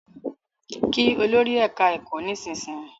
Kí Olórí ẹka ẹkọ nísìsiyìí!